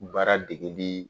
U bɛ baara dege bi